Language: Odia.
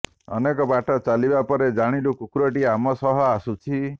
ଅନେକ ବାଟ ଚାଲିବା ପରେ ଜାଣିଲୁ କୁକୁରଟି ଆମ ସହ ଆସୁଛି